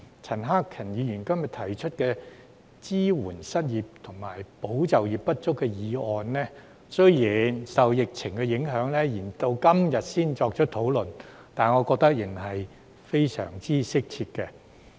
陳克勤議員今天提出"支援失業及就業不足人士"的議案，雖然受疫情影響延至今天才進行討論，但我覺得仍然非常適切。